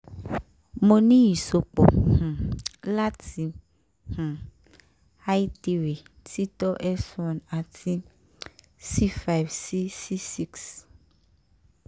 mo ni iṣọpọ um lati um l3 tito s1 ati c(5 si c6